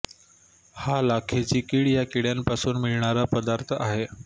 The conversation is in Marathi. हा लाखेची कीड या किड्यांपासून मिळणारा पदार्थ आहे